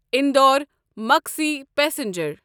اندور مقصی پسنجر